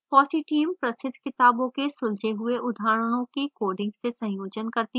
fossee team प्रसिद्ध किताबों के सुलझे हुए उदाहरणों की coding से संयोजन करती है